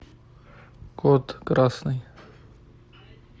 код красный